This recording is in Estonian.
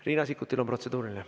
Riina Sikkutil on protseduuriline.